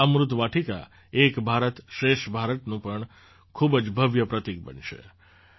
આ અમૃત વાટિકા એક ભારતશ્રેષ્ઠ ભારતનું પણ ખૂબ જ ભવ્ય પ્રતીક બનશે